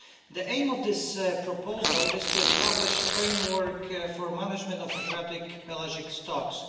The aim of this proposal is to establish a framework for the management of Adriatic pelagic stocks.